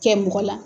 Kɛ mɔgɔ la